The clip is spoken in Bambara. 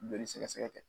Joli sɛgɛsɛgɛ